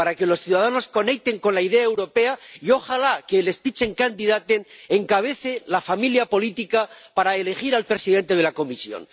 Para que los ciudadanos conecten con la idea europea, y ojalá que un Spitzenkandidat encabece cada familia política para elegir al presidente de la Comisión.